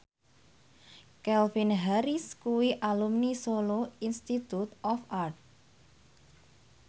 Calvin Harris kuwi alumni Solo Institute of Art